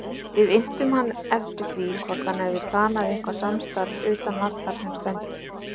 Við inntum hann eftir því hvort hann hafi planað eitthvað samstarf utan vallar sem stendur?